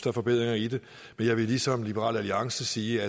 er forbedringer i det men jeg vil ligesom liberal alliance sige